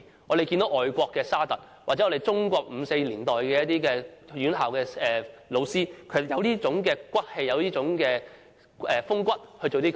我們看見外國的沙特，或中國在五四年代的院校老師便有這種骨氣、風骨來做這些事情。